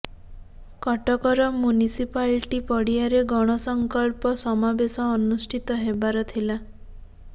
କଟକର ମ୍ୟୁନିସିପାଲିଟି ପଡ଼ିଆରେ ଗଣସଂକଳ୍ପ ସମାବେଶ ଅନୁଷ୍ଠିତ ହେବାର ଥିଲା